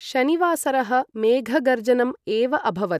शनिवासरः मेघगर्जनम् एव अभवत्।